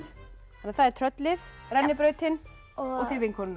það er tröllið rennibrautin og þið vinkonurnar